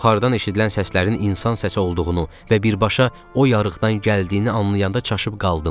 Yuxarıdan eşidilən səslərin insan səsi olduğunu və birbaşa o yarıqdan gəldiyini anlayanda çaşıb qaldım.